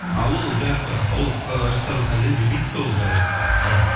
ал ол жаңағы ол ы ресторанның хозяины білмейді де ол жағдайды мхм